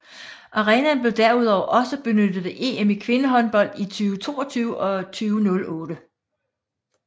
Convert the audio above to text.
Arenaen blev derudover også benyttet ved EM i kvindehåndbold i 2022 og 2008